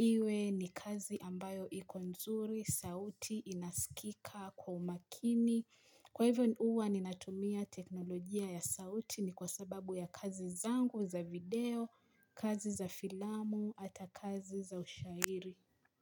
Iwe ni kazi ambayo ikomzuri, sauti inaskika kwa umakini Kwa hivyo uwa ninatumia teknolojia ya sauti ni kwa sababu ya kazi zangu za video, kazi za filamu, hata kazi za ushahiri.